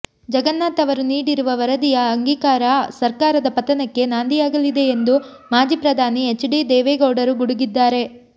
ಜಗನ್ನಾಥ್ ಅವರು ನೀಡಿರುವ ವರದಿಯ ಅಂಗೀಕಾರ ಸರ್ಕಾರದ ಪತನಕ್ಕೆ ನಾಂದಿಯಾಗಲಿದೆ ಎಂದು ಮಾಜಿ ಪ್ರಧಾನಿ ಎಚ್ ಡಿ ದೇವೇಗೌಡರು ಗುಡುಗಿದ್ದಾರೆ